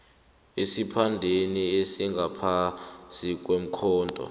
esiphandeni esingaphasi kwekhotho